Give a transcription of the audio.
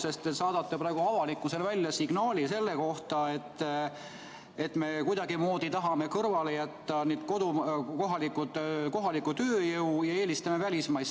Te saadate praegu avalikkusele signaali selle kohta, et me kuidagimoodi tahame kõrvale jätta kohalikku tööjõudu ja eelistame välismaist.